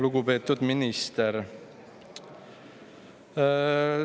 Lugupeetud minister!